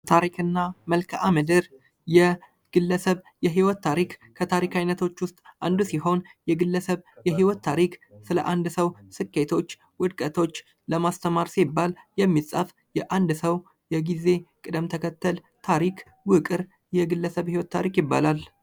ታሪክ እና መልካምድር የግለሰብ የህይወት ታሪክ የከታሪክ አይነቶች ዉስጥ አንዱ ሲሆን የግለሰብ የህይወት ታሪክ ስለ አንድ ሰዉ ስኬቶች ዉድቀቶች ለማስተማር ሲባል የሚፃፍ የግለሰብ ዉቅር የግለሰብ ታሪክ ይባላል።